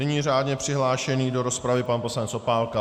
Nyní řádně přihlášený do rozpravy pan poslanec Opálka.